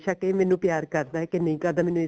ਬੇਸ਼ਕ ਇਹ ਮੈਨੂੰ ਪਿਆਰ ਕਰਦਾ ਐ ਕੇ ਨਹੀਂ ਕਰਦਾ ਮੈਨੂੰ